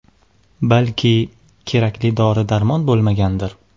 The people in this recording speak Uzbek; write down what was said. Balki, kerakli dori-darmon bo‘lmagandir.